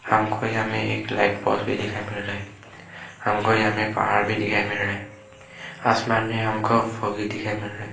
हमको यहां में एक लाइट पोज भी दिखाई दे रहा है हमको यहां में पहाड़ भी दिखाई मिल रहा है आसमान में हमको फोगी दिखाई मिल रहा है।